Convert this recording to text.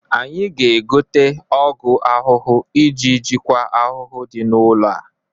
Anyị ga-egote ọgụ ahụhụ iji jikwa ahụhụ dị n'ụlọ a.